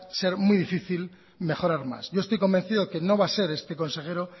ser muy difícil mejorar más yo estoy convencido que no va a ser este consejero